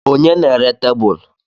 Ònye na-ere tebụl?